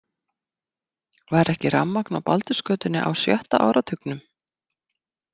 Var ekki rafmagn á Baldursgötunni á sjötta áratugnum?